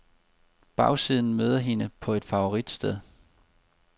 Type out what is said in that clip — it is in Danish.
Bagsiden møder hende på et favoritsted.